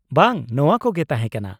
-ᱵᱟᱝ ᱱᱚᱶᱟ ᱠᱚᱜᱮ ᱛᱟᱦᱮᱸ ᱠᱟᱱᱟ ᱾